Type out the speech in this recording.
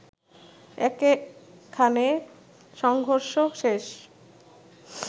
একে খানে সংঘর্ষ শেষ